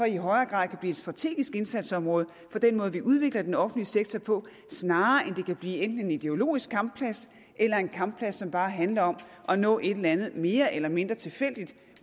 i højere grad blive et strategisk indsatsområde for den måde vi udvikler den offentlige sektor på snarere end at det kan blive enten en ideologisk kampplads eller en kampplads hvor det bare handler om at nå et eller andet mere eller mindre tilfældigt